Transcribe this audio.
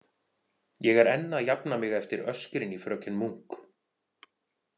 Ég er enn að jafna mig eftir öskrin í fröken Munk.